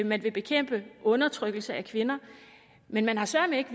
man vil bekæmpe undertrykkelse af kvinder men man har søreme ikke